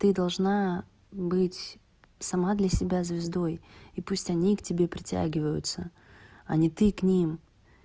ты должна быть сама для себя звездой и пусть они к тебе притягиваются а не ты к ним